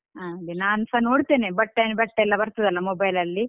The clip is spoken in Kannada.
ಹಾಗೆ ನಾನ್ಸ ನೋಡ್ತೇನೆ Bhat and Bhat ಲ್ಲಾ ಬರ್ತದಲ್ಲಾ mobile ಲಲ್ಲಿ.